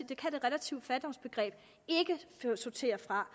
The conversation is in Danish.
det relative fattigdoms begreb ikke sortere fra